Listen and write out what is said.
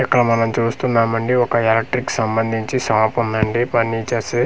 ఇక్కడ మనం చూస్తున్నాము అండి ఒక ఎలెక్ట్రిక్ సంబందించి షాప్ ఉందండి ఫర్నీచర్స్ .